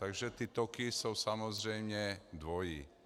Takže ty toky jsou samozřejmě dvojí.